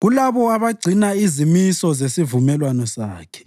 kulabo abagcina izimiso zesivumelwano Sakhe.